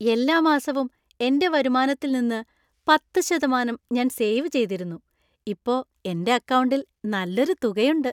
എല്ലാ മാസവും എന്‍റെ വരുമാനത്തിൽ നിന്ന് പത്ത് ശതമാനം ഞാൻ സേവ് ചെയ്തിരുന്നു , ഇപ്പോ എന്‍റെ അക്കൗണ്ടിൽ നല്ലൊരു തുക ഉണ്ട്.